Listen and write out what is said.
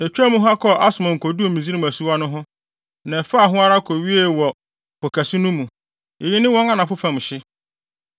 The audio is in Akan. Etwaa mu ha kɔɔ Asmon koduu Misraim asuwa no ho, na ɛfaa ho ara kowiee wɔ Po Kɛse no mu. Eyi ne wɔn anafo fam hye.